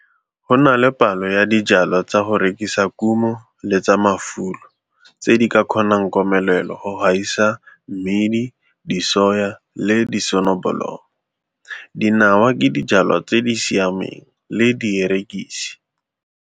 Go na le palo ya dijwalwa tsa go rekisa kumo le tsa mafulo tse di ka kgonang komelelo go gaisa mmidi, disoya le disonobolomo. Dinawa ke dijwalwa tse di siameng, le dierekisi.